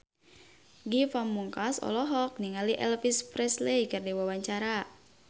Ge Pamungkas olohok ningali Elvis Presley keur diwawancara